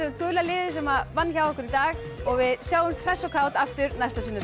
gula liðið sem vann hjá okkur í dag við sjáumst hress og kát aftur næsta sunnudag